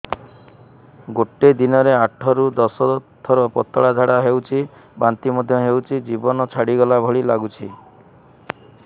ଗୋଟେ ଦିନରେ ଆଠ ରୁ ଦଶ ଥର ପତଳା ଝାଡା ହେଉଛି ବାନ୍ତି ମଧ୍ୟ ହେଉଛି ଜୀବନ ଛାଡିଗଲା ଭଳି ଲଗୁଛି